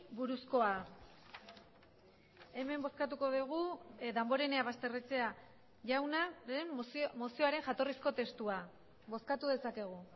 buruzkoa hemen bozkatuko dugu damborenea basterrechea jaunaren mozioaren jatorrizko testua bozkatu dezakegu